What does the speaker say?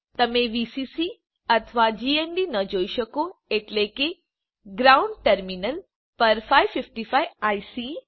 તમે વીસીસી અથવા જીએનડી ન જોઈ શકો એટલે કે ગ્રાઉન્ડ ટર્મિનલ પર 555 આઇસી